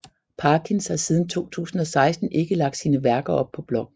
Parkins har siden 2016 ikke lagt sine værker op på bloggen